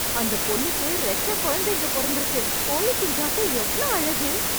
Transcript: அந்த பொண்ணுக்கு ரெட்ட கொழந்தைங்க பொறந்துருக்கு... கோழிக்குஞ்சாட்டம் எவ்ளோ அழகு...